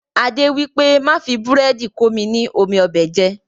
Adé wípé, Má fi búrẹ́dì komi ni omi ọbẹ̀ jẹ.